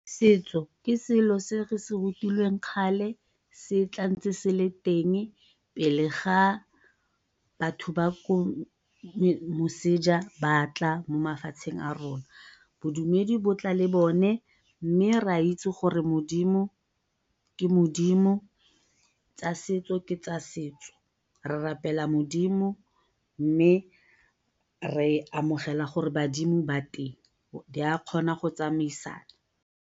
Setso ke selo se re se rutilweng kgale se tla ntse se le teng pele ga batho ba ko moseja batla mo mafatsheng a rona. Bodumedi bo tla le bone, mme re a itse gore modimo ke modimo tsa setso ke tsa setso. Re rapela modimo mme re amogela gore badimo ba teng di a kgona go tsamaisana.